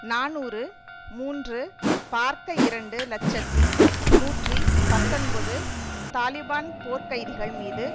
நாநூறு மூன்று பார்க்க இரண்டு இலட்சத்தி நூற்றி பத்தொன்பது தாலிபான் போர்க் கைதிகள் மீது